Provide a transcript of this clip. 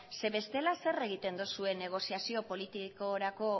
ze bestela zer egoten duzue negoziazio politikorako